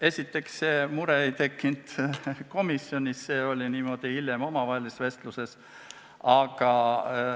Esiteks, see mure ei tekkinud komisjonis, vaid see oli hiljem omavahelises vestluses öeldud.